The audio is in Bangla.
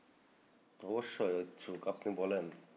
অবশ্যই ইচ্ছুক। আপনি বলেন।